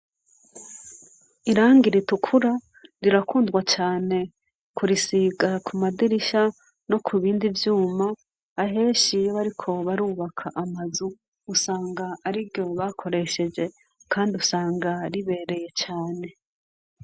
Irangi ritukura rirakundwa cane, kurisiga ku madirisha, no ku bindi vyuma aheshiyoe ari kobarubaka amazu, usanga ari ro bakoresheje, kandi usanga ribereye cane.